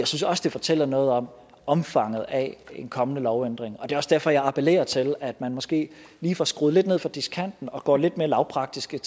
synes også der fortæller noget om omfanget af en kommende lovændring og det er også derfor jeg appellerer til at man måske lige får skruet lidt ned for diskanten og går lidt mere lavpraktisk